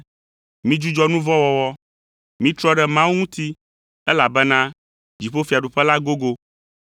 “Midzudzɔ nu vɔ̃ wɔwɔ, mitrɔ ɖe Mawu ŋuti, elabena dziƒofiaɖuƒe la gogo.”